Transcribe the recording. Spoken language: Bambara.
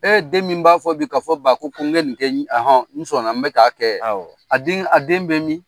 Ee den min b'a fɔ bi ka fɔ ba ko ko n bɛ nin kɛ hɔn n sɔnna n bɛ k'a kɛ a den bɛ min min